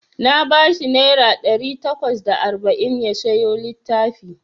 Na bashi naira ɗari takwas da arba'in ya siyo littafi.